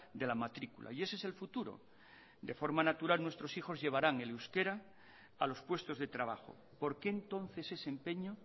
de la matrícula y ese es el futuro de forma natural nuestros hijos llevarán el euskera a los puestos de trabajo por qué entonces ese empeño